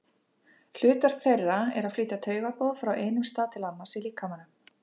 Hlutverk þeirra er að flytja taugaboð frá einum stað til annars í líkamanum.